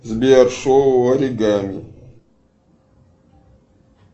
сбер шоу аригами